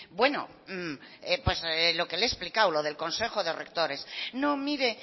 bueno pues lo que le he explicado lo del consejo de rectores no mire